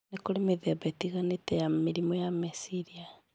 Nĩ kũrĩ mĩthemba ĩtiganĩte ya mĩrimũ ya meciria,